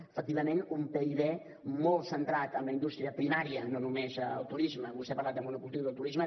efectivament un pib molt centrat en la indústria primària no només en el turisme vostè ha parlat del monocultiu del turisme